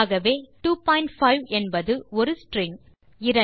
ஆகவே 25 என்பது ஒரு ஸ்ட்ரிங்